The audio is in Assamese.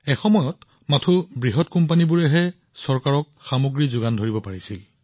এটা সময় আছিল যেতিয়া কেৱল ডাঙৰ কোম্পানীবোৰে চৰকাৰক সামগ্ৰী বিক্ৰী কৰিব পাৰিছিল